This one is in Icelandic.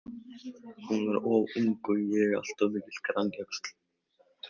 Hún var of ung og ég alltof mikill grænjaxl.